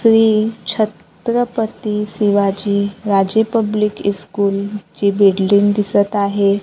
Shri Chhatrapati Shivaji Raje public school ची building दिसत आहे.